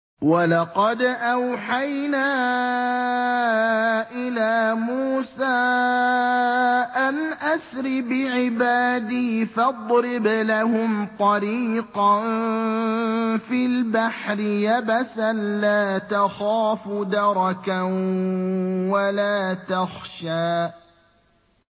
وَلَقَدْ أَوْحَيْنَا إِلَىٰ مُوسَىٰ أَنْ أَسْرِ بِعِبَادِي فَاضْرِبْ لَهُمْ طَرِيقًا فِي الْبَحْرِ يَبَسًا لَّا تَخَافُ دَرَكًا وَلَا تَخْشَىٰ